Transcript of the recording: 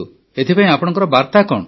ଏଥିପାଇଁ ଆପଣଙ୍କ ବାର୍ତା କଣ